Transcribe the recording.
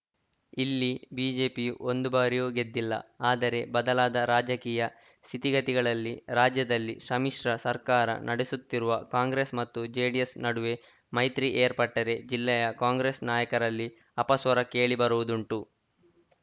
ಇಲ್ಲಿ ಬಿಜೆಪಿ ಒಂದು ಬಾರಿಯೂ ಗೆದ್ದಿಲ್ಲ ಆದರೆ ಬದಲಾದ ರಾಜಕೀಯ ಸ್ಥಿತಿಗತಿಗಳಲ್ಲಿ ರಾಜ್ಯದಲ್ಲಿ ಸಮ್ಮಿಶ್ರ ಸರ್ಕಾರ ನಡೆಸುತ್ತಿರುವ ಕಾಂಗ್ರೆಸ್‌ ಮತ್ತು ಜೆಡಿಎಸ್‌ ನಡುವೆ ಮೈತ್ರಿ ಏರ್ಪಟ್ಟರೆ ಜಿಲ್ಲೆಯ ಕಾಂಗ್ರೆಸ್‌ ನಾಯಕರಲ್ಲಿ ಅಪಸ್ವರ ಕೇಳಿ ಬರುವುದುಂಟು